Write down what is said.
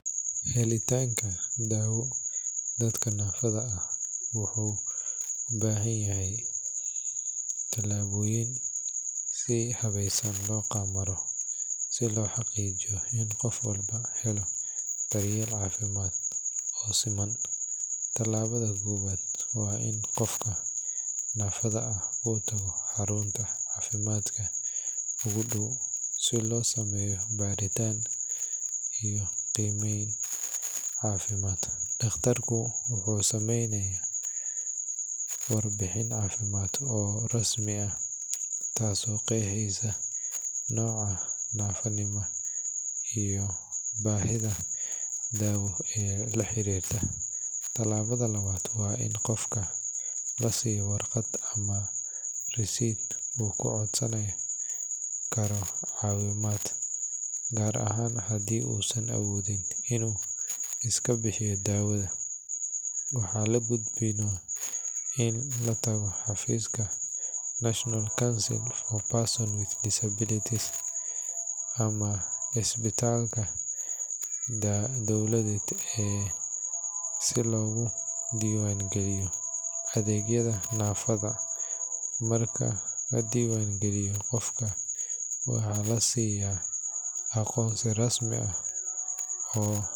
Helitaanka daawo dadka naafada ah wuxuu u baahan yahay tallaabooyin si habeysan loo maro si loo xaqiijiyo in qof walba helo daryeel caafimaad oo siman. Tallaabada koowaad waa in qofka naafada ah uu tago xarunta caafimaadka ugu dhow si loo sameeyo baaritaan iyo qiimeyn caafimaad. Dhaqtarku wuxuu sameeyaa warbixin caafimaad oo rasmi ah taasoo qeexaysa nooca naafonimo iyo baahida daawo ee la xiriirta. Tallaabada labaad waa in qofka la siiyo warqad ama risiid uu ku codsan karo caawimaad, gaar ahaan haddii uusan awoodin inuu iska bixiyo daawada. Waxaa la gudboon in la tago xafiiska National Council for Persons with Disabilities NCPWD ama isbitaalka dowladeed si looga diiwaangeliyo adeegyada naafada. Marka la diiwaan geliyo, qofka waxaa la siyaa aqoonsi rasmi ah.